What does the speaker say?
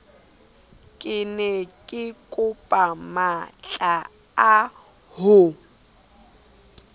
ke ne kekopa matlaa ho